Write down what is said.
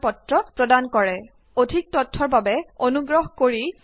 যদি আপোনাৰ ভাল বেণ্ডউইদ নেথাকে তেনেহলে আপুনি ইয়াক ডাউনলোড কৰি চাব পাৰে